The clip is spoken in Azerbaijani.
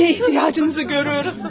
Nə ehtiyacımızı görürəm?